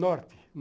Norte.